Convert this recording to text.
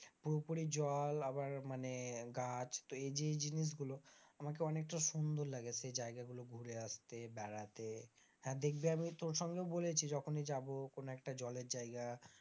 পুরোপুরি জল আবার মানে গাছ তো এই যে এই জিনিসগুলো আমাকে অনেকটা সুন্দর লাগে, সে জায়গা গুলো ঘুরে আসতে বেড়াতে হ্যাঁ দেখবি আমি তোর সঙ্গেও বলেছি যখনই যাব কোন একটা জলের জায়গা,